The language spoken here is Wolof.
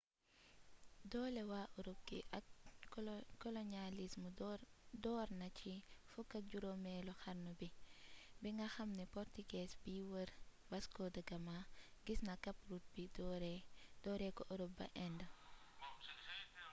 doole waa ërop gi ak koloñalism door na ci 15eelu xarnu bi bi nga xame ni purtugees biy wër vasco de gama gis na cape route bi dooree ko ërrop ba indë